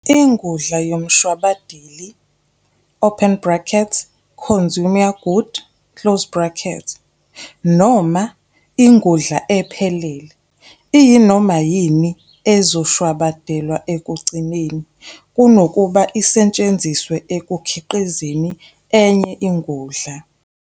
Ingudla yomshwabadeli, open bracket, "consumer good", close bracket noma "ingudla ephelele" iyinoma yini ezoshwabadelwa ekugcineni, kunokuba isetshenziswe ekukhiqizeni enye ingudla.